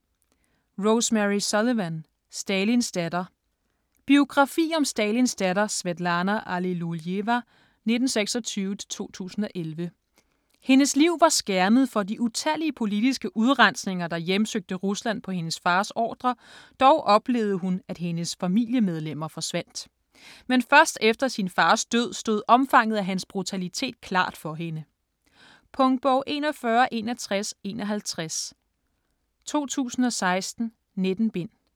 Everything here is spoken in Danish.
Sullivan, Rosemary: Stalins datter Biografi om Stalins datter Svetlana Allilujeva (1926-2011). Hendes liv var skærmet for de utallige politiske udrensninger, der hjemsøgte Rusland på hendes fars ordre, dog oplevede hun at hendes familiemedlemmer forsvandt. Men først efter sin fars død stod omfanget af hans brutalitet klart for hende. Punktbog 416151 2016. 19 bind.